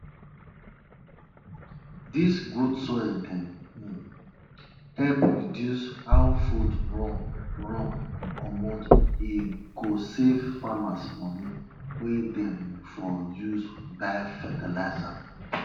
whenever you wan turn big pot of milk wey dey on top firewood dey use spoon wey the hand long well well